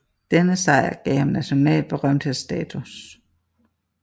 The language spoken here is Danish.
Denne sejr gav ham national berømthedsstatus